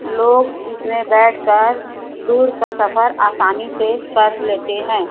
लोग इसमें बैठ कर दूर का सफर आसानी से कर लेते है।